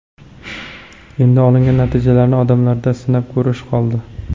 Endi olingan natijalarni odamlarda sinab ko‘rish qoldi.